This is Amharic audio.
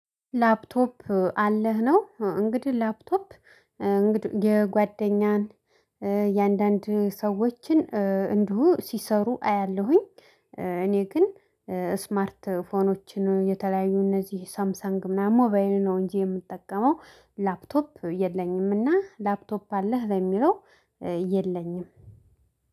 ላፕቶፕ አለህ ነው እንግዲህ ላፕቶፕ እንግዲህ የጓደኛን የአንዳንድ ሰዎችን እንዲሁ ሲሰሩ አያለሁኝ። እኔ ግን ስማርት ስልኮችን የተለያዩ እነዚህ ሳምሰንግ ምናምን ሞባይል ነው እንጂ የምጠቀመው ላፕቶፕ የለኝም። እና ላፕቶፕ አለህ ለሚለው የለኝም